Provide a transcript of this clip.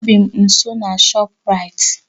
Ebị m nso na Shoprite